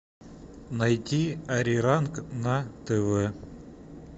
найти ариранг на тв